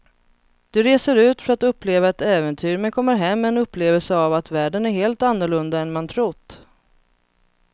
Du reser ut för att uppleva ett äventyr men kommer hem med en upplevelse av att världen är helt annorlunda än man trott.